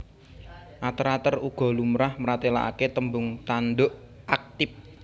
Ater ater uga lumrah mratèlakaké tembung tanduk aktip